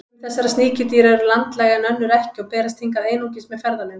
Sum þessara sníkjudýra eru landlæg en önnur ekki og berast hingað einungis með ferðalöngum.